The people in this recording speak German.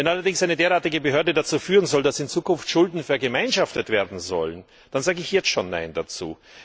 Wenn allerdings eine derartige Behörde dazu führen soll, dass in Zukunft Schulden vergemeinschaftet werden sollen, dann sage ich jetzt schon nein dazu.